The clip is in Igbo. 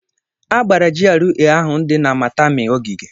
A /gbara GRA ahụ dị na Maitama ogige.